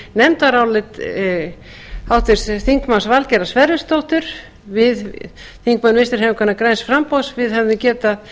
nefndarálit háttvirts þingmanns valgerðar sverrisdóttur við þingmenn vinstri hreyfingarinnar græns framboðs við hefðum getað